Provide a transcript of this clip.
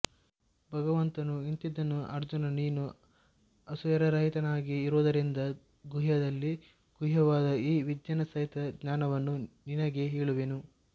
ಭಗವಂತನು ಇಂತೆಂದನು ಅರ್ಜುನ ನೀನು ಅಸೂಯಾರಹಿತನಾಗಿ ಇರುವುದರಿಂದ ಗುಹ್ಯದಲ್ಲಿ ಗುಹ್ಯವಾದ ಈ ವಿಜ್ಞಾನಸಹಿತ ಜ್ಞಾನವನ್ನು ನಿನಗೆ ಹೇಳುವೆನು